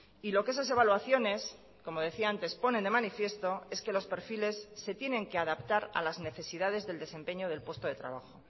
y lo que esas evaluaciones como decía antes ponen de manifiesto es que los perfiles se tienen que adaptar a las necesidades del desempeño del puesto de trabajo